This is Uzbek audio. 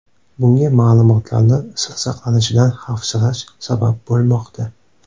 Bunga ma’lumotlarni sir saqlanishidan xavfsirash sabab bo‘lmoqda.